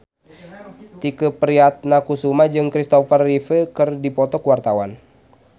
Tike Priatnakusuma jeung Christopher Reeve keur dipoto ku wartawan